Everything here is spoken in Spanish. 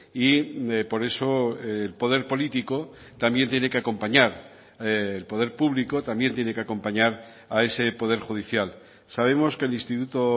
y por eso el poder político también tiene que acompañar el poder público también tiene que acompañar a ese poder judicial sabemos que el instituto